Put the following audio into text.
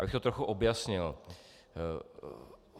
Abych to trochu objasnil.